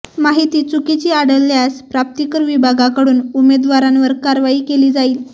माहिती चुकीची आढळल्यास प्राप्तिकर विभागाकडून उमेदवारांवर कारवाई केली जाईल